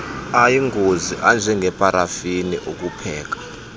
ayingozi anjengeparafini ukupheka